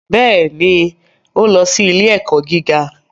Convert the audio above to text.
Bẹ́ẹ̀ ni, ó lọ sí ilé-ẹ̀kọ́ gíga